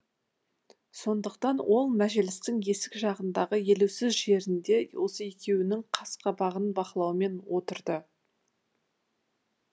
сондықтан ол мәжілістің есік жағындағы елеусіз жерінде осы екеуінің қас қабағын бақылаумен отырды